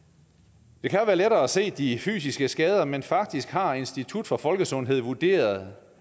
det kan jo være lettere at se de fysiske skader men faktisk har institut for folkesundhed vurderet